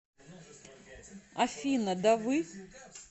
афина да вы